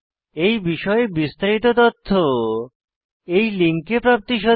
এই বিষয়ে বিস্তারিত তথ্য এই লিঙ্কে প্রাপ্তিসাধ্য